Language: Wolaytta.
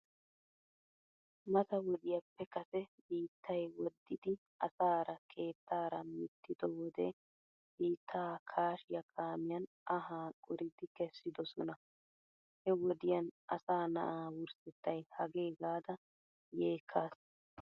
Mata wodiyaappe kase biittay woddidi asaara keettaara mittido wode biittaa kaashiyaa kaamiyan anhaa qoridi kessidosona. He wodiyan asaa na"aa wurssettay hagee gaada yeekkaas.